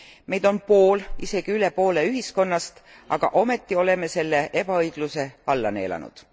Meid on pool, isegi üle poole ühiskonnast, aga ometi oleme selle ebaõigluse alla neelanud.